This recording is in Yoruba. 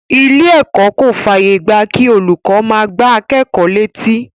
Ilé ẹ̀kọ́ kò fàyè gba kí olùkọ́ máa gbá akẹ́kọ̀ọ́ létí.